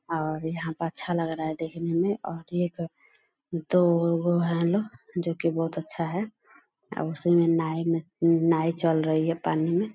और यहां पे अच्छा लग रहा है देखने में और एक दो गो है जो की बहुत अच्छा है उसी में नाई में नाई चल रही है पानी में।